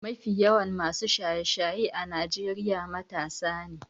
Mafi yawan masu shaye-shaye a Najeriya matasa ne.